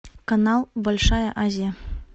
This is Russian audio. канал большая азия